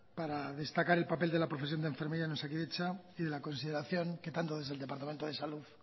para destacar el papel de la profesión de enfermería en osakidetza y de la consideración que tanto desde el departamento de salud